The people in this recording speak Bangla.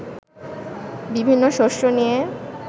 বিভিন্ন শস্য নিয়ে